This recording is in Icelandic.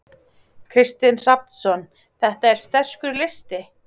Kristinn Hrafnsson: Þetta er sterkur listi?